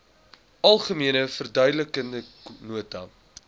algemene verduidelikende nota